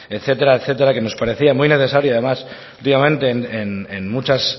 etcétera que nos parecía muy necesario además últimamente en muchas